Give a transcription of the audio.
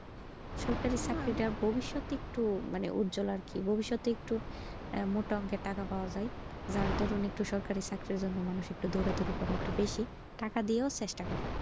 সরকারি চাকরিতার ভবিষ্যত একটু মানে উজ্জ্বল আর কি ভবিষতে একটু মোটা অংকের টাকা পাওয়া যাই যার দরুন একটু সরকারি চাকরির জন্য মানুষ একটু দোর দড়ি করে একটু বেশি টাকা দিয়েও চেষ্টা করে।